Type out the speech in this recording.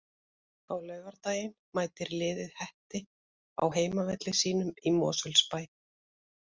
Á laugardaginn mætir liðið Hetti á heimavelli sínum í Mosfellsbæ.